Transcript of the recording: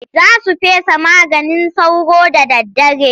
Za su fesa maganin sauro da daddare.